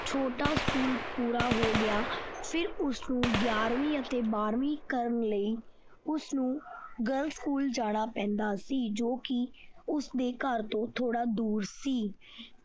ਛੋਟਾ school ਪੂਰਾ ਹੋ ਗਿਆ ਫਿਰ ਉਸਨੂੰ ਗਿਆਰਵੀਂ ਅਤੇ ਬਾਰਵੀਂ ਕਰਨ ਲਈ ਉਸਨੂੰ girls school ਜਾਣਾ ਪੈਂਦਾ ਸੀ ਕਿਉਂਕਿ ਉਸਦੇ ਘਰ ਤੋਂ ਥੋੜਾ ਦੂਰ ਸੀ।